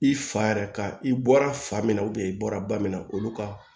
I fa yɛrɛ ka i bɔra fa min na i bɔra ba min na olu ka